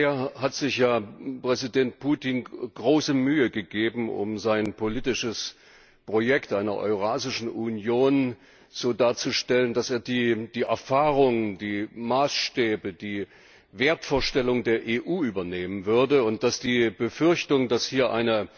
Bisher hat sich ja Präsident Putin große Mühe gegeben, sein politisches Projekt einer Eurasischen Union so darzustellen, als ob er die Erfahrung, die Maßstäbe, die Wertvorstellungen der EU übernehmen würde, und die Befürchtung, dass hier eine